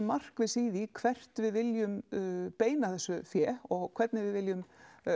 markviss í því hvert við viljum beina þessu fé og hvernig við viljum